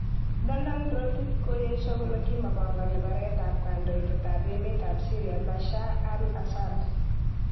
Donald Rotich kokoyesho kole kimopogoni baret ab kondoidet ab emet tab Syria Bashar al asaad.